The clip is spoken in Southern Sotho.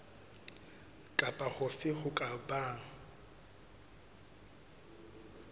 kapa hofe ho ka bang